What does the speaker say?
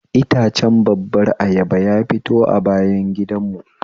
Itacen babbar ayaba ya fito a bayan gidan mu